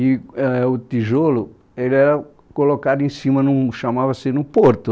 e āh o tijolo, ele era colocado em cima de um, chamava-se no porto.